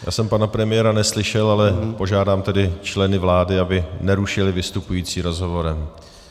Já jsem pana premiéra neslyšel, ale požádám tedy členy vlády, aby nerušili vystupující rozhovorem.